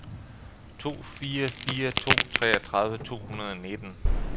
to fire fire to treogtredive to hundrede og nitten